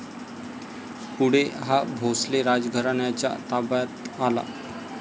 पुढे हा भोसले राजघराण्याच्या ताब्यात आला.